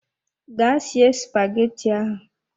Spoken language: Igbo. Ga sie spaghetti ahụ!